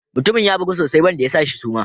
Mutumin ya bugu sosai wanda ya shi suma.